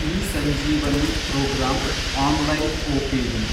eSanjeevani programme, online OPD